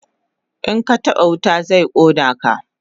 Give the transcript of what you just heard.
In ka taba wuta zai kona ka